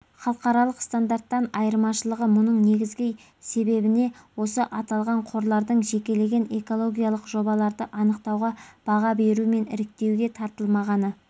халықаралық стандарттардан айырмашылығы мұның негізгі себебіне осы аталған қорлардың жекелеген экологиялық жобаларды анықтауға баға беру мен іріктеуге тартылмағаны